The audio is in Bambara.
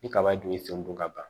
Ni kaba dun y'i sen don ka ban